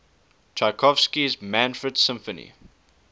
tchaikovsky's manfred symphony